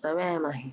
सांगायचे.